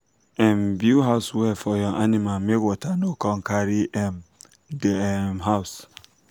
um build house wella for your animal make water no come carry um de um house